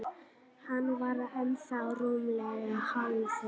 Hann var ennþá rúmlega hálfur.